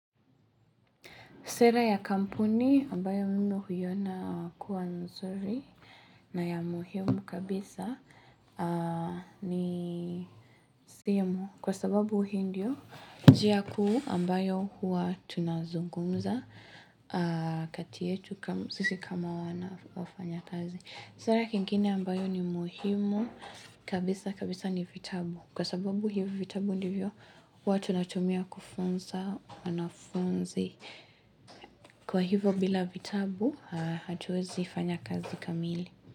Sera ya kampuni ambayo mimi huiona kuwa mzuri na ya muhimu kabisa ni simu kwa sababu hii ndiyo njia kuu ambayo huwa tunazungumza katietu sisi kama wanafanyakazi. Sera kingine ambayo ni muhimu kabisa kabisa ni vitabu Kwa sababu hivyo vitabu ndivyo huwa tunatumia kufunza wanafunzi Kwa hivyo bila vitabu Hatuezi fanya kazi kamili.